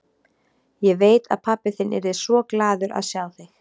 Ég veit að pabbi þinn yrði svo glaður að sjá þig.